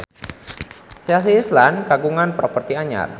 Chelsea Islan kagungan properti anyar